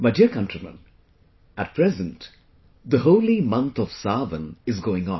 My dear countrymen, at present the holy month of 'Saawan' is going on